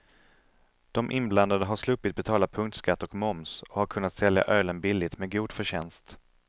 De inblandade har sluppit betala punktskatt och moms och har kunnat sälja ölen billigt med god förtjänst.